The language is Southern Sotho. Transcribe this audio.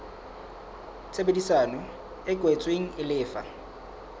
tshebedisano e kwetsweng e lefa